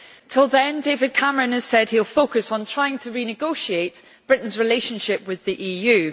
Until then, David Cameron has said he will focus on trying to renegotiate Britain's relationship with the EU.